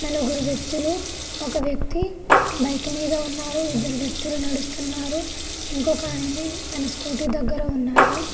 నలుగురు వ్యక్తులు ఒక వ్యక్తి బైక్ మీద ఉన్నారు ఇద్దరు వ్యక్తులు నడుస్తున్నారు ఇంకొక ఆయన తన స్కూటీ దగ్గర ఉన్నారు.